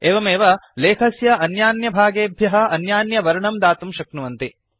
एवमेव लेखस्य अन्यान्यभागेभ्यः अन्यान्यवर्णं दातुं शक्नुवन्ति